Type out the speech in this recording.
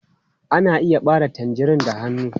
Ana iya ɓare tangerine da hannu.